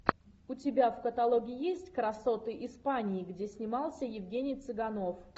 у тебя в каталоге есть красоты испании где снимался евгений цыганов